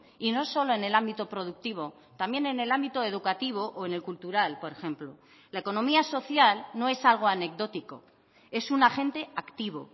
y no solo en el ámbito productivo también en el ámbito educativo o en el cultural por ejemplo la economía social no es algo anecdótico es un agente activo